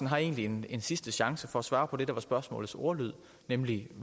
har egentlig en sidste chance for at svare på det der var spørgsmålets ordlyd nemlig